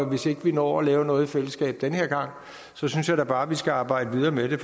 hvis ikke vi når at lave noget i fællesskab den her gang synes jeg da bare vi skal arbejde videre med det